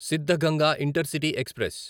Siddaganga intercity express